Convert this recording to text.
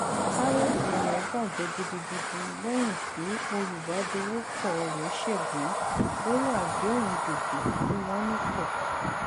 kárédì rẹ bajẹ gidigidi lẹyìn tí olùbàdọwọpọ rẹ ṣègbé lórí àdéhùn gbèsè tí wọn ní pọ